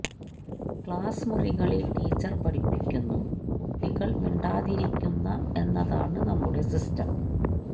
ക്ലാസ്റൂമുകളില് teacher പഠിപ്പിക്കുന്നു കുട്ടികള് മിണ്ടാതിരിക്കുന്ന എന്നതാണ് നമ്മുടെ സിസ്റ്റം